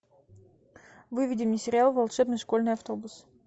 выведи мне сериал волшебный школьный автобус